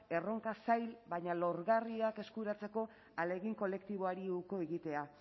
erronka zail baina lorgarriak eskuratzeko ahalegin kolektiboari uko egitea